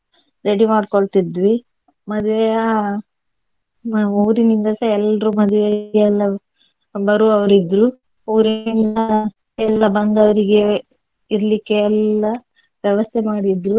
ready ಮಾಡ್ಕೊಳ್ತಿದ್ವಿ ಮದುವೆಯ ಊರಿನಿಂದ ಸಹ ಎಲ್ರೂ ಮದುವೆಗೆ ಎಲ್ಲಾ ಬರುವವರಿದ್ರು ಊರಿನಿಂದ ಎಲ್ಲಾ ಬಂದವರಿಗೆ ಇರ್ಲಿಕ್ಕೆ ಎಲ್ಲಾ ವ್ಯವಸ್ಥೆ ಮಾಡಿದ್ರು.